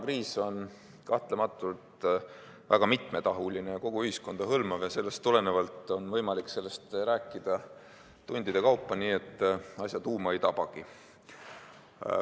Koroonakriis on kahtlematult väga mitmetahuline ja kogu ühiskonda hõlmav ja sellest tulenevalt on võimalik sellest rääkida tundide kaupa, nii et asja tuuma ei tabagi.